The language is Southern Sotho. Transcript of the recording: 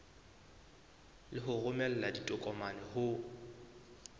le ho romela ditokomane ho